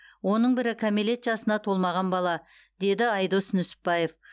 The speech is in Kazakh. оның бірі кәмелет жасына толмаған бала деді айдос нүсіпбаев